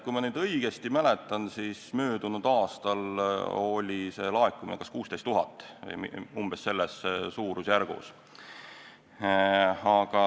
Kui ma õigesti mäletan, siis möödunud aastal oli laekumine 16 000, selles suurusjärgus.